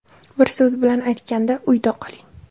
Bir so‘z bilan aytganda – uyda qoling!